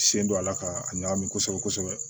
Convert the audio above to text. Sen don a la k'a ɲagami kosɛbɛ kosɛbɛ